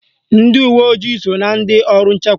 Ndị uwe ojii so na ndị ọrụ nchekwa